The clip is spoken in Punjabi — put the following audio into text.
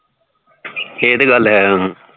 ਏਹ ਤੇ ਗੱਲ ਹੈ